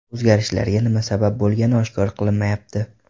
O‘zgarishlarga nima sabab bo‘lgani oshkor qilinmayapti.